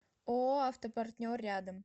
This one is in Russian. ооо автопартнер рядом